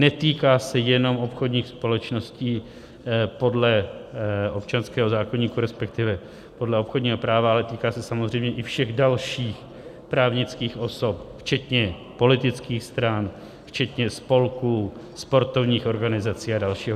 Netýká se jenom obchodních společností podle občanského zákoníku, respektive podle obchodního práva, ale týká se samozřejmě i všech dalších právnických osob včetně politických stran, včetně spolků, sportovních organizací a dalších.